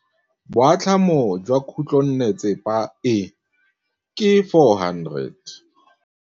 Boatlhamô jwa khutlonnetsepa e, ke 400.